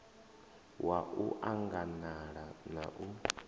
wa u anganala na u